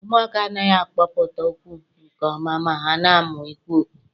Ụmụaka anaghị akpọpụta okwu nke ọma ma ha na-amụ ikwu okwu.